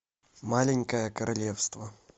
маленькое королевство